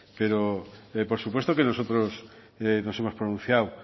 pero por supuesto que nosotros nos hemos pronunciado